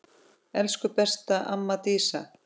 Elsku besta amma Dísa.